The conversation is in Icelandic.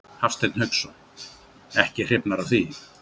Hafsteinn Hauksson: Ekki hrifnar af því?